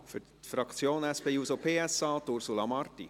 Für die SP-JUSO-PSA-Fraktion, Ursula Marti.